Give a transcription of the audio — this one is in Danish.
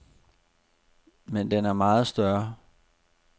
Men den er meget større.